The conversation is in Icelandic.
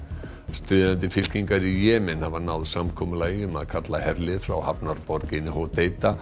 stríðandi fylkingar í Jemen hafa náð samkomulagi um að kalla herlið frá hafnarborginni